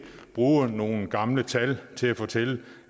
bruge nogle gamle tal til at fortælle